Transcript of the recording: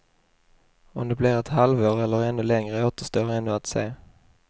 Om det blir ett halvår eller ännu längre återstår ännu att se.